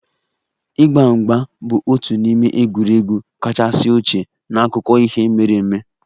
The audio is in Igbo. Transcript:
Ịgba mgba bụ otu n'ime egwuregwu kachasị ochie n'akụkọ ihe mere eme